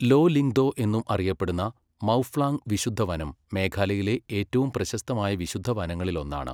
Law Lyngdoh എന്നും അറിയപ്പെടുന്ന മൗഫ്ലാംഗ് വിശുദ്ധ വനം മേഘാലയയിലെ ഏറ്റവും പ്രശസ്തമായ വിശുദ്ധ വനങ്ങളിലൊന്നാണ്.